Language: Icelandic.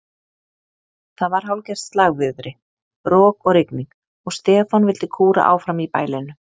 Það var hálfgert slagviðri, rok og rigning, og Stefán vildi kúra áfram í bælinu.